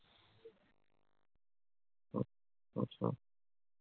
আচ্ছা।